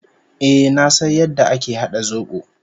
Eh, na san yadda ake hada zobo.